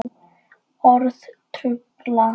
Orð trufla.